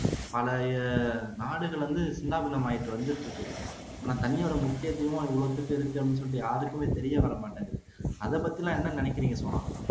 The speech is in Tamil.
பழைய நாடுகள் வந்து சின்னாபின்னாமாயிட்டு வந்துட்டு இருக்கு ஆனா தண்ணியுடைய முக்கியத்துவம் யாருக்குமே தெரியவரமாட்டேங்குது